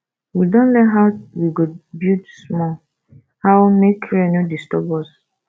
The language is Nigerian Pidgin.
we don learn how we go build small how make rain no disturb us